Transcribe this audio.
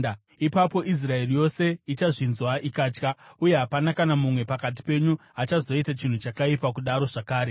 Ipapo Israeri yose ichazvinzwa ikatya, uye hapana kana mumwe pakati penyu achazoita chinhu chakaipa kudaro zvakare.